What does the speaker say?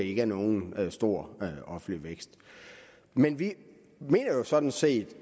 ikke er nogen stor offentlig vækst men vi mener jo sådan set